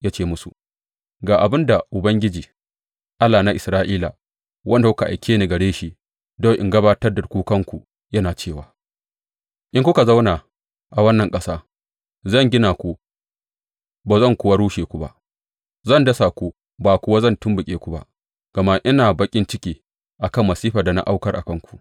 Ya ce musu, Ga abin da Ubangiji, Allah na Isra’ila, wanda kuka aike ni gare shi don in gabatar da kukanku, yana cewa, In kuka zauna a wannan ƙasa, zan gina ku ba zan kuwa rushe ku ba; zan dasa ku ba kuwa zan tumɓuke ku ba, gama ina baƙin ciki a kan masifar da na aukar a kanku.